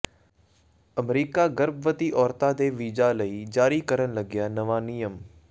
America ਗਰਭਵਤੀ ਔਰਤਾਂ ਦੇ ਵੀਜ਼ਾ ਲਈ ਜਾਰੀ ਕਰਨ ਲੱਗਿਆ ਨਵਾਂ ਨਿਯਮ